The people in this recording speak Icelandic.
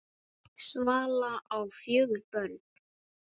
Svala á fjögur börn.